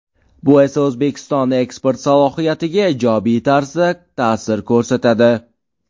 Bu esa O‘zbekiston eksport salohiyatiga ijobiy tarzda ta’sir ko‘rsatadi.